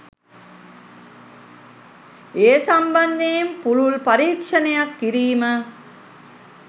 ඒ සම්බන්ධයෙන් පුළුල් පරීක්‍ෂණයක් කිරීම